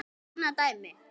Annað dæmi.